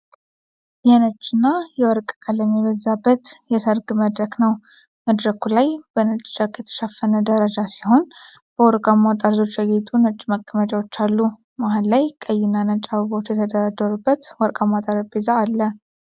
የነጭና የወርቅ ቀለም የበዛበት የሠርግ መድረክ ነው። መድረኩ ላይ በነጭ ጨርቅ የተሸፈነ ደረጃ ሲሆን፣ በወርቃማ ጠርዞች ያጌጡ ነጭ መቀመጫዎች አሉ። መሃል ላይ ቀይና ነጭ አበባዎች የተደረደሩበት ወርቃማ ጠረጴዛ አለ።